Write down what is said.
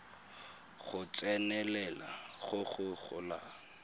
go tsenelela go go golang